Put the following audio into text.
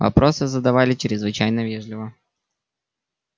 вопросы задавали чрезвычайно вежливо